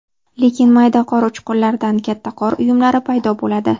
Lekin mayda qor uchqunlaridan katta qor uyumlari paydo bo‘ladi.